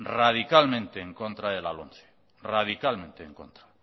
radicalmente en contra de la lomce radicalmente en contra